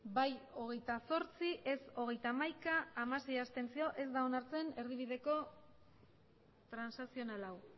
bai hogeita zortzi ez hogeita hamaika abstentzioak hamasei ez da onartzen erdibideko transakzional hau